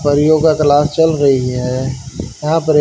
परियों का क्लास चल रहीं हैं यहाँ पर--